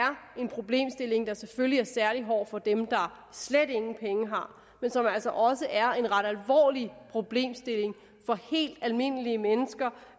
en problemstilling der selvfølgelig er særlig hård for dem der slet ingen penge har men som altså også er en ret alvorlig problemstilling for helt almindelige mennesker